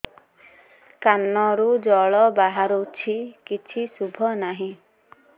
କାନରୁ ଜଳ ବାହାରୁଛି କିଛି ଶୁଭୁ ନାହିଁ